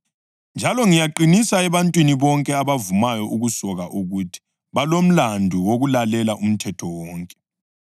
Njalo ngiyaqinisa ebantwini bonke abavumayo ukusoka ukuthi balomlandu wokulalela umthetho wonke.